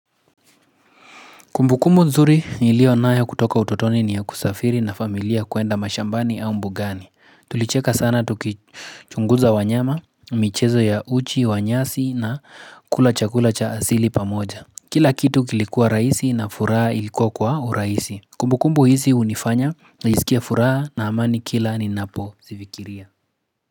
Kumbukumbu nzuri nilionayo kutoka utotoni ni ya kusafiri na familia kwenda mashambani au mbugani. Tulicheka sana tukichunguza wanyama, michezo ya uchi, wa nyasi na kula chakula cha asili pamoja. Kila kitu kilikuwa rahisi na furaha ilikuwa kwa urahisi. Kumbukumbu hizi hunifanya naisikia furaha na amani kila ninapo zifikiria.